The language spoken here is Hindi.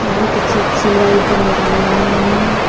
बहुत अच्छी अच्छी लाइट लगाई हुई है।